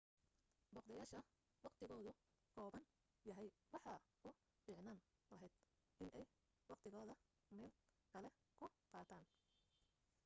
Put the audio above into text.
booqdayaasha waqtigoodu kooban yahay waxa u fiicnaan lahayd inay waqtigooda meel kale ku qaataan